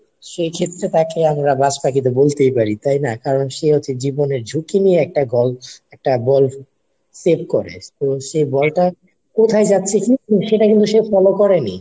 সেক্ষেত্রে তাকে আমরা বাজপাখি বলতেই পারি তাই না? কারণ সে হচ্ছে জীবনের ঝুঁকি নিয়ে একটা ball একটা ball save করে তো সেই ball টা কোথায় যাচ্ছে কি? সেটা কিন্তু সে follow করেনি